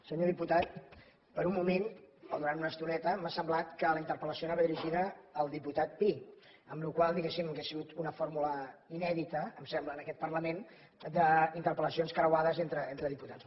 senyor diputat per un mo·ment o durant una estoneta m’ha semblat que la inter·pel·la ció anava dirigida al diputat pi la qual cosa di·guéssim hauria sigut una fórmula inèdita em sembla en aquest parlament d’interpel·lacions creuades entre diputats